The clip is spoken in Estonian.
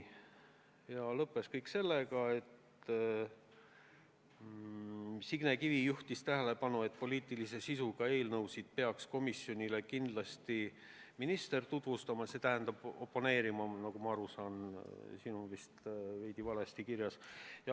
Istung lõppes sellega, et Signe Kivi juhtis tähelepanu, et poliitilise sisuga eelnõusid peaks komisjonile kindlasti minister tutvustama või konkreetsel juhul siis oponeerima – siin on vist veidi valesti kirjas.